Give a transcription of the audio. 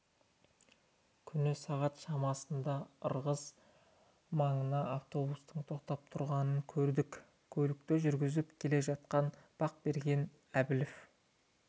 күні сағат шамасында ырғыз маңында автобустың тоқтап тұрғанын көрдік көлікті жүргізіп келе жатқан бақберген әбілов